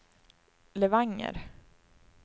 Levanger